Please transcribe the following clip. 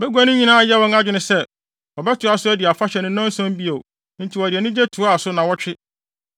Bagua no nyinaa yɛɛ wɔn adwene sɛ, wɔbɛtoa so adi afahyɛ no nnanson bio enti wɔde anigye toaa so nnaawɔtwe.